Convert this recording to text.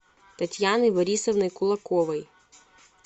татьяны борисовны кулаковой